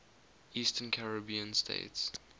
eastern caribbean states